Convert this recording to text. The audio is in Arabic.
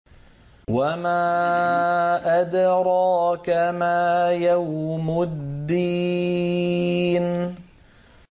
وَمَا أَدْرَاكَ مَا يَوْمُ الدِّينِ